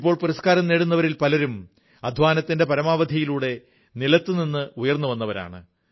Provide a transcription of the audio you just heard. ഇപ്പോൾ പുരസ്കാരം നേടുന്നവരിൽ പലരും അധ്വാനത്തിന്റെ പരകോടിയിലൂടെ താഴേതലത്തിൽ നിന്ന് ഉയർന്നുവന്നവരാണ്